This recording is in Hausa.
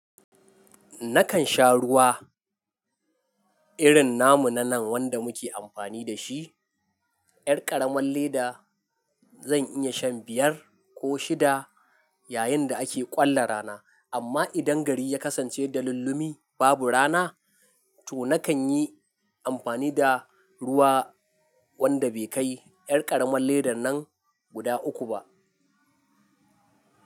Nakan sha ruwa irin namu na nan wanda muke amfani da shi, yar karaman leda. Zan iya shan biyar ko shida yayin da ake ƙwalla rana, amma idan gari ya kasance da lulumi babu rana, to nakan yi amfani da ruwa wanda bai kai yar karamar leda nan guda uku ba.